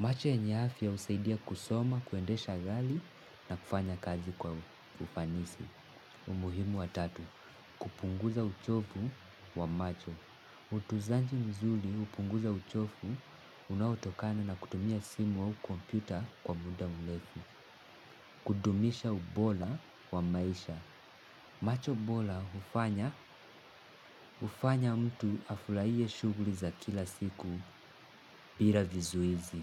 Macho yenye afya husaidia kusoma, kuendesha gali na kufanya kazi kwa ufanisi. Umuhimu wa tatu. Kupunguza uchopu wa macho. Utuzanji mzuli upunguza uchofu unaotokana na kutumia simu au komputa kwa muda mlefu. Kudumisha ubola wa maisha. Macho bola hufanya, ufanya mtu afulaie shughli za kila siku, pira vizuizi.